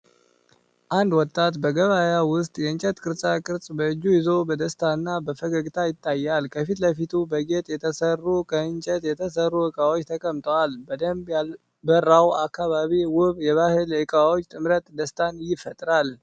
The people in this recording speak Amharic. አንድ ወጣት በገበያ ውስጥ የእንጨት ቅርጻ ቅርጽ በእጁ ይዞ በደስታ እና በፈገግታ ይታያል። ከፊት ለፊቱ በጌጥ የተሰሩ ከእንጨት የተሠሩ እቃዎች ተቀምጠዋል። በደንብ ያልበራው አካባቢና ውብ የባህል እቃዎች ጥምረት ደስታን ይፈጥራል።